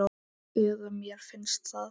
Eða mér finnst það.